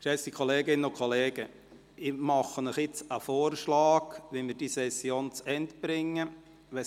Geschätzte Kolleginnen und Kollegen, ich mache Ihnen jetzt einen Vorschlag, wie wir diese Session zu Ende bringen können.